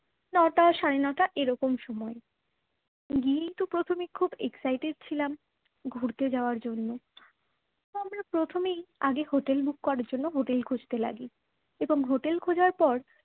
নটা সাড়ে নটা এইরকম সময়। গিয়েই তো প্রথমে খুব excited ছিলাম ঘুরতে যাওয়ার জন্য তো আমরা প্রথমেই আগে হোটেল book করার জন্য হোটেল খুঁজতে লাগলাম এবং হোটেল খোজার পর